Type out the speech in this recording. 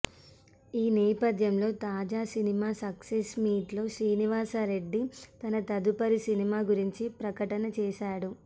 ఈ నేపథ్యంలో తాజా సినిమా సక్సెస్ మీట్ లో శ్రీనివాస రెడ్డి తన తదుపరి సినిమా గురించి ప్రకటన చేశాడు